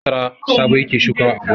Masara Sabo yake shukawa a gona.